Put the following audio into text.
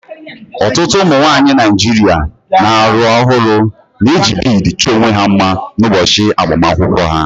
Ọtụtụ ụmụ nwanyị Naijiria na-alụ ọhụrụ na-eji bead chọọ onwe ha mma n'ụbọchị agbamakwụkwọ ha